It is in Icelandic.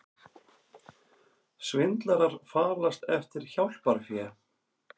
Svindlarar falast eftir hjálparfé